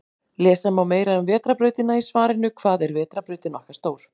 Lesa má meira um Vetrarbrautina í svarinu Hvað er vetrarbrautin okkar stór?